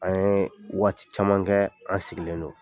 An ye waati caman kɛ an sigilen don.